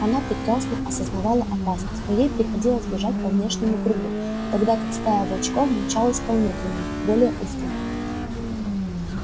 она прекрасно сознавала опасность но ей приходилось бежать по внешнему кругу тогда как стая волчков мчалась по внутреннему более узкому